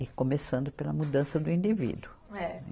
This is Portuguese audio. E começando pela mudança do indivíduo. É.